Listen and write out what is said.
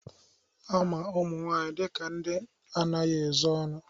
Ama ụmụ nwaanyị dịka ndị na-anaghị ezo ọnụ